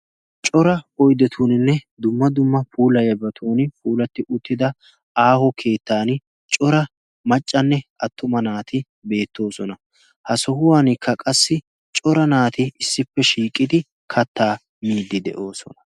cora oidetuuninne dumma dumma puulayabatun puulatti uttida aaho keettan cora maccanne attuma naati beettoosona ha sohuwankka qassi cora naati issippe shiiqidi kattaa miiddi de'oosona